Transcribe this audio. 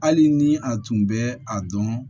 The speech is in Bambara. Hali ni a tun bɛ a dɔn